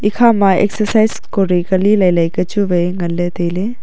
kha ma exercise kori kule lele ku chu wai ngan le taile.